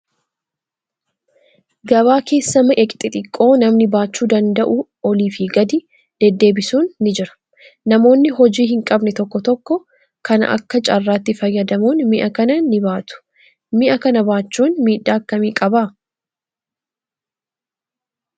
Gabaa keessa mi'a xixiqqoo namni baachuu danda'u olii fi gadi deddeebisuun ni Jira. Namoonni hojii hin qabne tokko tokko kana Akka carraatti fayyadamuun mi'a kana ni baatu. Mi'a kana baachuun miidhaa akkami qabaa?